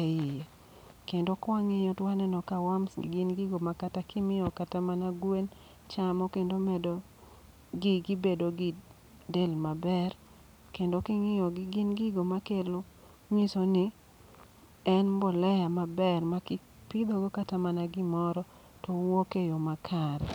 e iye. Kendo kwang'iyo to waneno ka worms gi gin gigo ma kata kimiyo kata mana gwen chamo kendo medo gi gi bedo gi del maber. Kendo king'iyo gi gin gigo ma kelo ng'iso ni en mbolea maber. Ma kata kipidhogo kata mana gimoro, to wuok e yo makare.